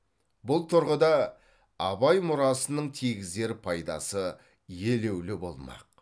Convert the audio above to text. бұл тұрғыда абай мұрасының тигізер пайдасы елеулі болмақ